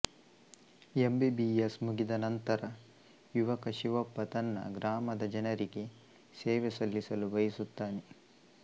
M B B S ಮುಗಿದ ನಂತರ ಯುವಕ ಶಿವಪ್ಪ ತನ್ನ ಗ್ರಾಮದ ಜನರಿಗೆ ಸೇವೆ ಸಲ್ಲಿಸಲು ಬಯಸುತ್ತಾನೆ